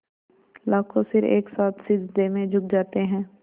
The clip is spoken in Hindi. लाखों सिर एक साथ सिजदे में झुक जाते हैं